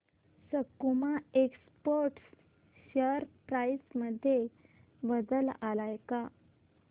सकुमा exports share price मध्ये बदल आलाय का